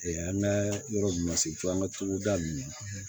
an ka yɔrɔ mun ma se an ka togoda ninnu na